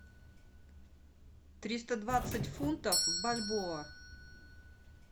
триста двадцать фунтов в бальбоа